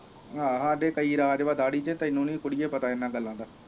ਆਹ ਹਾੜੇ ਕਈ ਰਾਜ ਆ ਦਾੜੀ ਚ ਤੈਨੂੰ ਨੀ ਕੁੜੀਏ ਪਤਾ ਇਨ੍ਹਾਂ ਗਲਾਂ ਦਾ